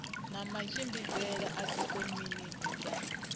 na matshimbidzele a dzikomiti dza